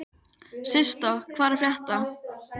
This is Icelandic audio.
Annars stigs bruni er dýpri og honum fylgir meiri sársauki.